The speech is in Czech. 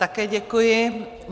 Také děkuji.